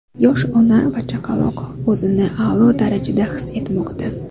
Yosh ona va chaqaloq o‘zini a’lo darajada his etmoqda.